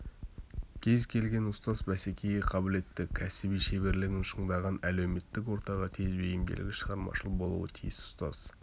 кез келген ұстаз бәсекеге қабілетті кәсіби шеберлігін шыңдаған әлеуметтік ортаға тез бейімделгіш шығармашыл болуы тиіс ұстаз